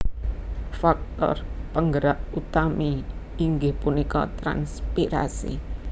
Faktor penggerak utami inggih punika transpirasi